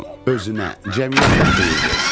Özünə, cəmiyyətə xeyir versin.